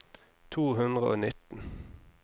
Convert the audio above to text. to hundre og nitten